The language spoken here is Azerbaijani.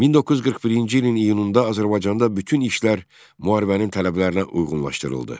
1941-ci ilin iyununda Azərbaycanda bütün işlər müharibənin tələblərinə uyğunlaşdırıldı.